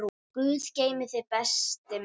Guð geymi þig, besti minn.